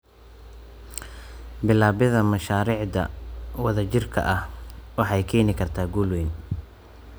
Bilaabidda mashaariicda wadajirka ah waxay keeni kartaa guul weyn.